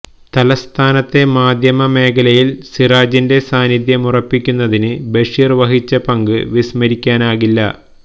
തലസ്ഥാനത്തെ മാധ്യമ മേഖലയിൽ സിറാജിന്റെ സാന്നിധ്യമുറപ്പിക്കുന്നതിന് ബഷീർ വഹിച്ച പങ്ക് വിസ്മരിക്കാനാകില്ല